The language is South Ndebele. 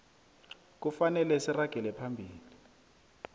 kufanele siragele phambili